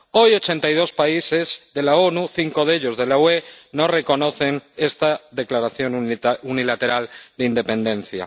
Hoy ochenta y dos países de las Naciones Unidas, cinco de ellos de la UE, no reconocen esta declaración unilateral de independencia.